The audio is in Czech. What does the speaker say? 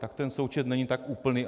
Tak ten součet není tak úplný.